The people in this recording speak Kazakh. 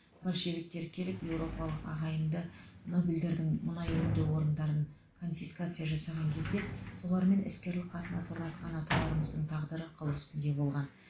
большевиктер келіп еуропалық ағайынды нобельдердің мұнай өңдеу орындарын конфискация жасаған кезінде солармен іскерлік қатынас орнатқан аталарымыздың тағдыры қыл үстінде болған